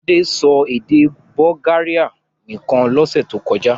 Fadé sọ èdè Bulgaria nìkan lọ́sẹ̀ tó kọjá?